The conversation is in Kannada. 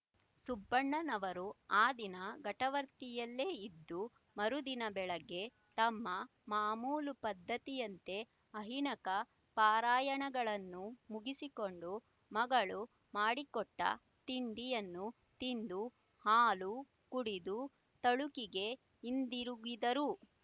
ಸುಬ್ಬಣ್ಣನವರು ಆ ದಿನ ಘಟವರ್ತಿಯಲ್ಲೇ ಇದ್ದು ಮರುದಿನ ಬೆಳಿಗ್ಗೆ ತಮ್ಮ ಮಾಮೂಲು ಪದ್ಧತಿಯಂತೆ ಆಹ್ನಿಕ ಪಾರಾಯಣಗಳನ್ನು ಮುಗಿಸಿಕೊಂಡು ಮಗಳು ಮಾಡಿಕೊಟ್ಟ ತಿಂಡಿಯನ್ನು ತಿಂದು ಹಾಲು ಕುಡಿದು ತಳುಕಿಗೆ ಹಿಂದಿರುಗಿದರು